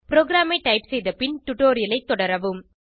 ப்ரோகிராமை டைப் செய்த பின் டுடோரியலைத் தொடரவும்